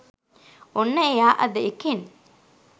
ඔන්න එයා අද එකෙන්